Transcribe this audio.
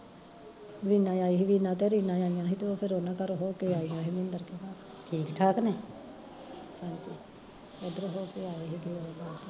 ਵੀਨਾ ਆਈ ਸੀ, ਵੀਨਾ ਤੇ ਰੀਨਾ ਆਈਆ ਸੀ ਦੋਹੇ ਫਿਰ ਉਹਨਾਂ ਘਰ ਹੋ ਕੇ ਆਈਆ ਸੀ ਮਿੰਦਰ ਕੇ ਘਰ ਹਾਂਜੀ ਉਧਰੋਂ ਹੋ ਕੇ ਆਏ ਸੀਗੇ